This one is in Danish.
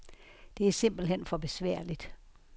Det er simpelt hen for besværligt.